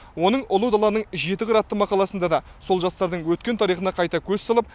оның ұлы даланың жеті қыры атты мақаласында да сол жастардың өткен тарихына қайта көз салып